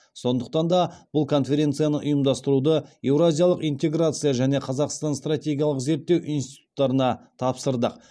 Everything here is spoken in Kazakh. сондықтан да бұл конференцияны ұйымдастыруды еуразиялық интеграция және қазақстан стратегиялық зерттеу институттарына тапсырдық